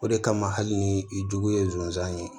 O de kama hali ni i jugu ye zonzan ye